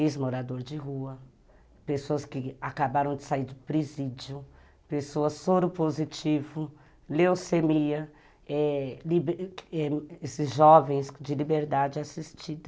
Ex-morador de rua, pessoas que acabaram de sair do presídio, pessoas soropositivo, leucemia eh, esses jovens de liberdade assistida.